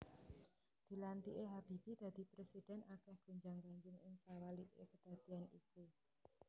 Dilantiké Habibie dadi prèsidhèn akèh gonjang ganjing ing sawaliké kedadéan iku